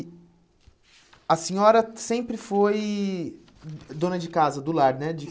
E a senhora sempre foi dona de casa, do lar, né?